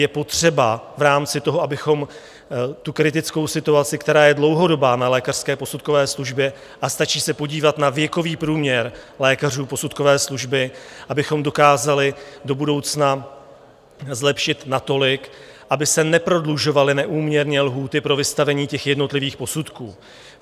Je potřeba v rámci toho, abychom tu kritickou situaci, která je dlouhodobá na lékařské posudkové službě, a stačí se podívat na věkový průměr lékařů posudkové služby, abychom dokázali do budoucna zlepšit natolik, aby se neprodlužovaly neúměrně lhůty pro vystavení těch jednotlivých posudků.